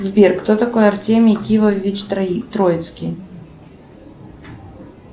сбер кто такой артемий кивович троицкий